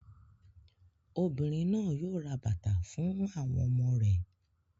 Obìnrin náà yóò ra bàtà fún àwọn ọmọ rẹ̀.